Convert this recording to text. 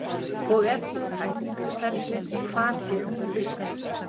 Og ef það er hægt, hvernig og hvar geta þær vistast?